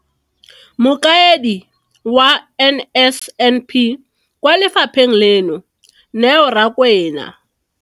Mokaedi wa NSNP kwa lefapheng leno, Neo Rakwena.